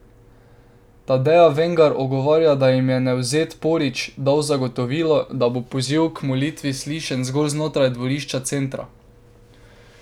Tadeja Vengar odgovarja, da jim je Nevzet Porić dal zagotovilo, da bo poziv k molitvi slišen zgolj znotraj dvorišča centra.